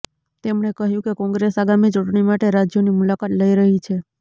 તેમણે કહ્યું કે કોંગ્રેસ આગામી ચૂંટણી માટે રાજ્યોની મુલાકાત લઈ રહી છે